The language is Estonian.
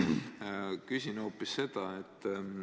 Küsin hoopis seda.